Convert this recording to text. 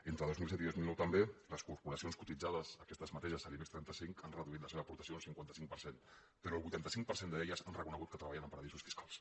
entre dos mil set i dos mil nou també les corporacions cotitzades aquestes mateixes de l’ibex trenta cinc han reduït la seva aportació un cinquanta cinc per cent però el vuitanta cinc per cent d’aquestes han reconegut que treballen en paradisos fiscals